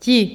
Ti,